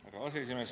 Härra aseesimees!